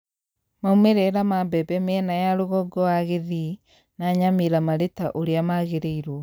Maumĩrĩra ma mbembe mĩena ya rũgongo wa Kisii na Nyamira marĩ ta ũrĩa magĩrĩirwo